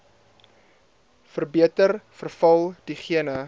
verbeter veral diegene